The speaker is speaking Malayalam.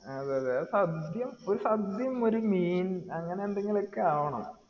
ആ അതെ അതെ അത് സദ്യ ഒരു സദ്യഉം ഒരു മീൻ അങ്ങനെ എന്തെങ്കിലും ഒക്കെ ആവണം